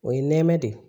O ye nɛmɛ de ye